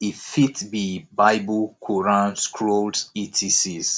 e fit be bible quaran scrolls etcs